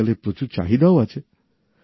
আজকাল এর প্রচুর চাহিদাও আছে